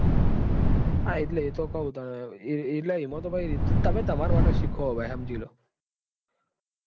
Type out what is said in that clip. હા એટલે એ તો કઉં તાને તમે તમાર માટે જ સીખો ભાઈ સમજી લો.